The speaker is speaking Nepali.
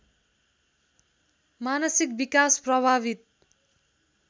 मानसिक विकास प्रभावित